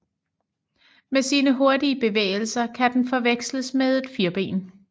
Med sine hurtige bevægelser kan den forveksles med et firben